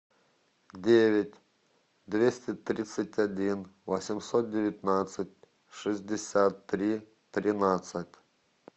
девять двести тридцать один восемьсот девятнадцать шестьдесят три тринадцать